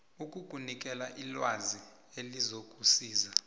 ukukunikela ilwazi elizokusiza